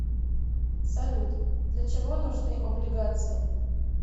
салют для чего нужны облигации